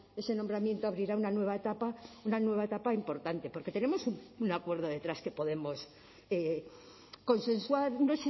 ese nombramiento abrirá una nueva etapa una nueva etapa importante porque tenemos un acuerdo detrás que podemos consensuar no